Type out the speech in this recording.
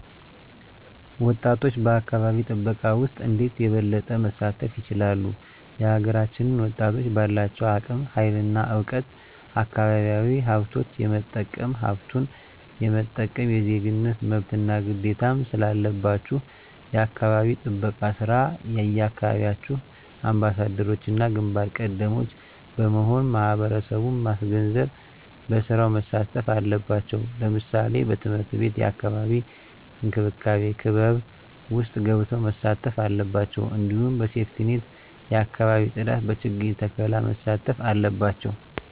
ወጣቶች በአካባቢ ጥበቃ ውስጥ እንዴት የበለጠ መሳተፍ ይችላሉ? የሀገራችንን ወጣቶች ባላቸው እምቅ ሀይል እና እውቀት አካባቢያዊ ሀብቶች የመጠቀምም ሀብቱን የመጠበቅም የዜግነት መብትና ግዴታም ስላለባችሁ የአካባቢ ጥበቃ ስራ የየአካባቢያችሁ አምባሳደሮችና ግንባር ቀደሞች በመሆን ማህበረሰቡን ማስገንዘብ በስራው መሳተፍ አለባቸው ለምሳሌ በትምህርት ቤት የአካባቢ እንክብካቤ ክበብ ውስጥ ገብተው መሳተፍ አለባቸው እንዲሁም በሴፍትኔት የአካባቢ ፅዳት በችግኝ ተከላ መሳተፍ አለባቸው